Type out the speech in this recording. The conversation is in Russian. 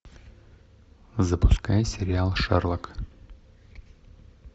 запускай сериал шерлок